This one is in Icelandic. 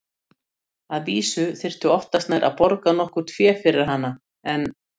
Að vísu þyrfti oftast nær að borga nokkurt fé fyrir hana, en